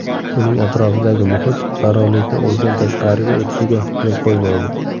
Uning atrofidagi muhit yorug‘likni o‘zidan tashqariga o‘tishiga yo‘l qo‘ymaydi.